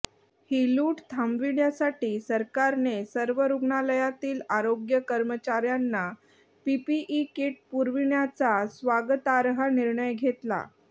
ही लूट थांबविण्यासाठी सरकारने सर्व रुग्णालयातील आरोग्य कर्मचाऱ्यांना पीपीई कीट पुरविण्याचा स्वागतार्ह निर्णय घेतला